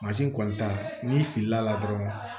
kɔni ta n'i filila dɔrɔn